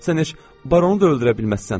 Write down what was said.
Sən heç baronu da öldürə bilməzsən.